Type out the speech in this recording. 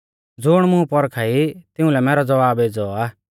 ज़ुण मुं पौरखा ई तिउंलै मैरौ ज़वाब एज़ौ आ